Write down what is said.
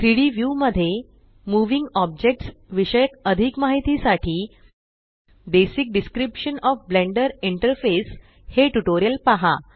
3डी व्यू मध्ये moving objects विषयक अधिक माहिती साठी basic description O F Blender interface हे ट्यूटोरियल पहा